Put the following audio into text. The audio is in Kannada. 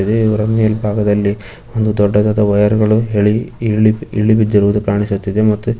ಇವರ ಮೇಲ್ಭಾಗದಲ್ಲಿ ಒಂದು ದೊಡ್ಡದಾದ ವಯರ್ ಗಳು ಇಳಿಬಿದಿರುವುದನ್ನು ಕಾಣಿಸುತ್ತಿದೆ.